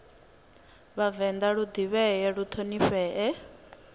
vhavenḓa lu ḓivhee lu ṱhonifhee